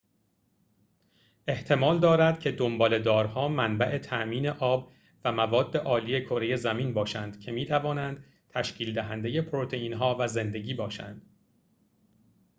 احتمال دارد که دنباله‌دارها منبع تامین آب و مواد‌آلی کره زمین باشند که می‌توانند تشکیل‌دهنده پروتئین‌ها و زندگی باشند